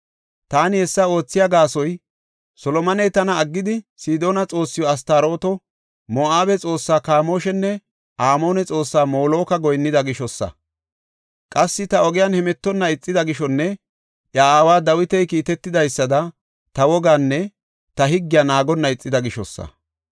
Taani hessa oothiya gaasoy, Solomoney tana aggidi Sidoona xoossiw Astarooto, Moo7abe xoossa Kamooshanne Amoone xoossaa Moloka goyinnida gishosa. Qassi ta ogiyan hemetonna ixida gishonne iya aaway Dawiti kiitetidaysada ta wogaanne ta higgiya naagonna ixida gishosa.